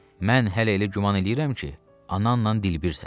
Mən hələ elə güman eləyirəm ki, ananla dilbirsən.